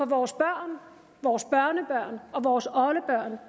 vores børn vores børnebørn og vores oldebørn